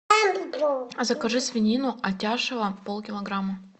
закажи свинину атяшево пол килограмма